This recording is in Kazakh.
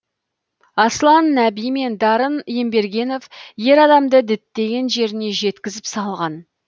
аслан нәби мен дарын ембергенов ер адамды діттеген жеріне жеткізіп салған